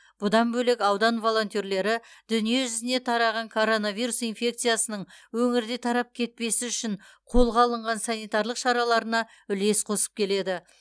бұдан бөлек аудан волонтерлері дүниежүзіне тараған коронавирус инфекциясының өңірде тарап кетпесі үшін қолға алынған санитарлық шараларына үлес қосып келеді